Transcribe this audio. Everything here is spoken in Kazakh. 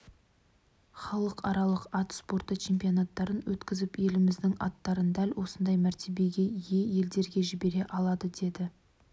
халықаралық ат спорты чемпионаттарын өткізіп еліміздің аттарын дәл осындай мәртебеге ие елдерге жібере алады деді